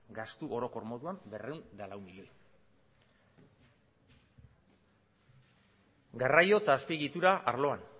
gastu orokor moduan berrehun eta lau milioi garraio eta azpiegitura arloan